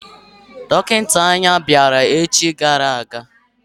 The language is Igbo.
Dọkịta anya bịara echi gara aga.